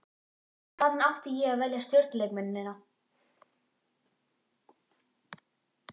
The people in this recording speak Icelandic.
Hvaðan átti ég að velja stjörnuleikmennina?